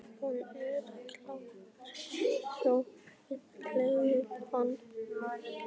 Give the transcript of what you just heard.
Hann er kjaftfor svo við kefluðum hann.